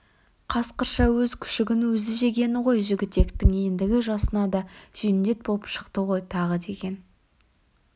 қасқырша өз күшігін өзі жегені ғой жігітектің ендігі жасына да жендет боп шықты ғой тағы деген